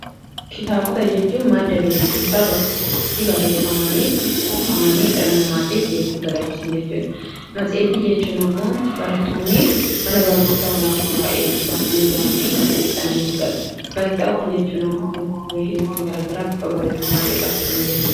Kitaabota jechuun madda beekumsaa bakka tokkotti barreeffamanii, kuufamanii dhala namaatiif beekumsa dabarsan jechuudha. Matsa'iitii jechuun ammoo barattoonni mana barnootaa oolaanoo irraa eebbifamanii ba'anii matsa'iitii sana ni fudhatu. Gaazitaawwan jechuun ammoo odeeffannoowwan garaa garaa bifa barreeffamaatiin raabsaman jechuudha.